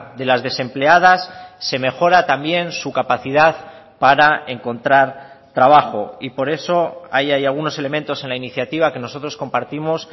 de las desempleadas se mejora también su capacidad para encontrar trabajo y por eso ahí hay algunos elementos en la iniciativa que nosotros compartimos